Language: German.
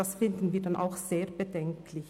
Das fänden wir dann auch sehr bedenklich.